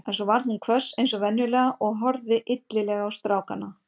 En svo varð hún hvöss eins og venjulega og horfði illilega á strákana.